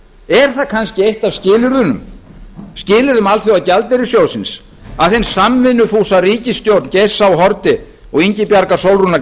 er það kannski eitt af skilyrðum alþjóðagjaldeyrissjóðsins að hin samvinnufúsa ríkisstjórn geirs h haarde og ingibjargar sólrúnar